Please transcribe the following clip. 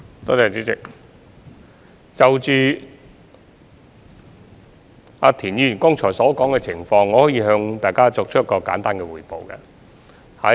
代理主席，就田議員剛才提到的情況，我可以向大家作一個簡單的匯報。